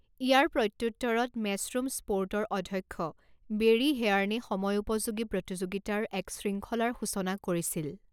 ইয়াৰ প্ৰত্যুত্তৰত, মেচৰুম স্পোৰ্টৰ অধ্যক্ষ বেৰী হেয়াৰ্নে সময়োপযোগী প্ৰতিযোগিতাৰ এক শৃংখলাৰ সূচনা কৰিছিল।